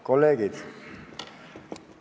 Kolleegid!